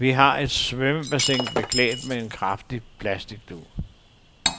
Vi har et svømmebassin beklædt med en kraftig plasticdug.